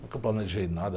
Nunca planejei nada.